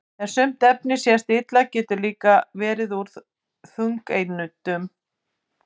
en sumt efni sem sést illa getur líka verið úr þungeindum